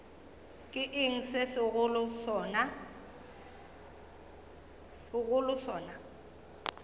ke eng se segolo sona